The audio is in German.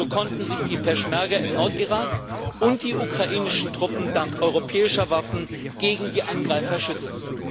So konnten sich die Peschmerga im Nordirak und die ukrainischen Truppen dank europäischer Waffen gegen die Angreifer schützen.